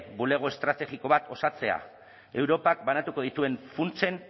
bulego estrategiko bat osatzea europak banatuko dituen funtsen